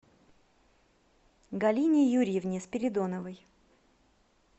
галине юрьевне спиридоновой